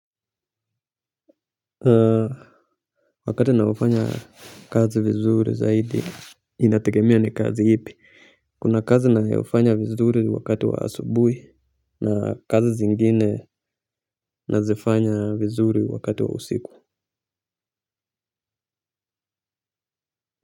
Wakati na ufanya kazi vizuri zaidi inategemea ni kazi ipi kuna kazi nayofanya vizuri wakati wa asubuhi na kazi zingine nazifanya vizuri wakati wa usiku.